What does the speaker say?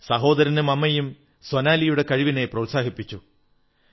സഹോദരനും അമ്മയും സോനാലിയുടെ കഴിവിനെ പ്രോത്സാഹിപ്പിച്ചു